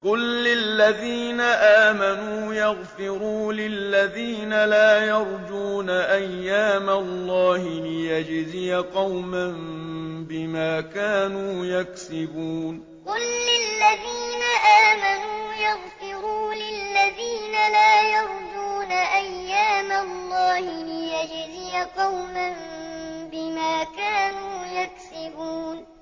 قُل لِّلَّذِينَ آمَنُوا يَغْفِرُوا لِلَّذِينَ لَا يَرْجُونَ أَيَّامَ اللَّهِ لِيَجْزِيَ قَوْمًا بِمَا كَانُوا يَكْسِبُونَ قُل لِّلَّذِينَ آمَنُوا يَغْفِرُوا لِلَّذِينَ لَا يَرْجُونَ أَيَّامَ اللَّهِ لِيَجْزِيَ قَوْمًا بِمَا كَانُوا يَكْسِبُونَ